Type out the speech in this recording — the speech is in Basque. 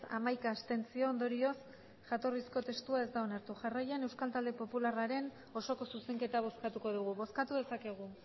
hamaika abstentzio ondorioz jatorrizko testua ez da onartu jarraian euskal talde popularraren osoko zuzenketa bozkatuko dugu bozkatu dezakegu